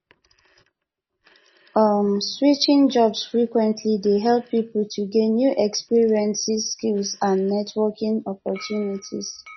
um switching jobs frequently dey help people to gain new experiences skills and networking opportunities